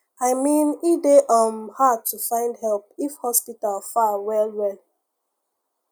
i mean e dey um hard to find help if hospital far well well